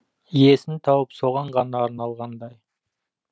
иесін тауып соған ғана арналғандай